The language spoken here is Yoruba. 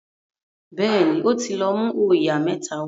béèni o tí lọ mú oyà mẹ́ta wá